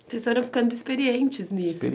Vocês foram ficando experientes nisso também.